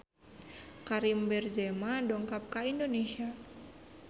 Karim Benzema dongkap ka Indonesia